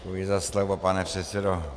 Děkuji za slovo, pane předsedo.